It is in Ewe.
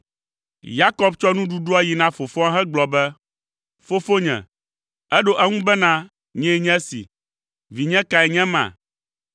Yakob tsɔ nuɖuɖua yi na fofoa hegblɔ be, “Fofonye.” Eɖo eŋu bena, “Nyee nye si, vinye kae nye ema?”